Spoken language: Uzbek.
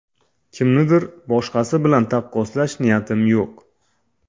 Kimnidir boshqasi bilan taqqoslash niyatim yo‘q.